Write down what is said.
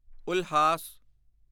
Ulhas